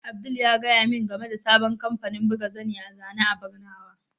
Abdul ya gaya min game da sabon kamfanin buga zani a zane a barnawa.